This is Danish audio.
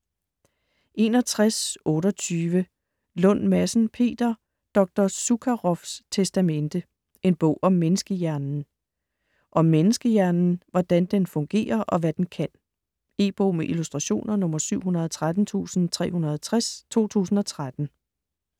61.28 Lund Madsen, Peter: Dr. Zukaroffs testamente: en bog om menneskehjernen Om menneskehjernen. Hvordan den fungerer og hvad den kan. E-bog med illustrationer 713360 2013.